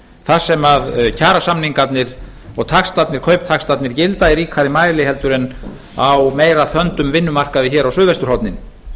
þar sem kjarasamningarnir og kauptaxtarnir gilda í ríkari mæli heldur en á meira þöndum vinnumarkaði hér á suðvesturhorninu